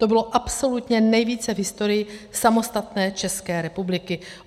To bylo absolutně nejvíce v historii samostatné České republiky.